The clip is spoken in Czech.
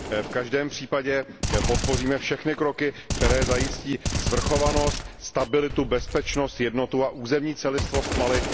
V každém případě podpoříme všechny kroky, které zajistí svrchovanost, stabilitu, bezpečnost, jednotu a územní celistvost Mali.